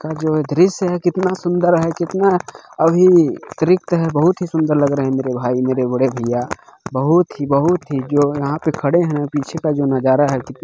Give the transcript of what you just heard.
का जो है दृश्य कितना सुंदर है कितना अ ही तृप्त है बहुत ही सुंदर लग रहे है मेरे भाई मेरे बड़े भैया बहुत ही बहुत ही जो यहाँ पे खड़े है पीछे का जो नज़ारा है।